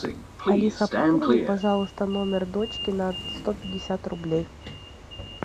алиса пополни пожалуйста номер дочки на сто пятьдесят рублей